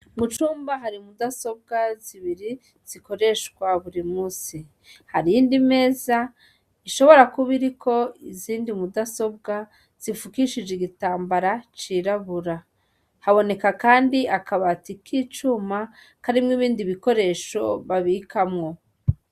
Mu cumba hari mudasobwa zibiri, zikoreshwa buri musi. Hari iyindi meza, ishobora kuba iriko izindi mudasobwa, zifukishije igitambara cirabura. Haboneka kandi akabati k'icuma, karimwo ibindi bikoresho babikamwo.